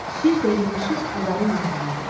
Şir də yığışıb bunların yanına gəldi.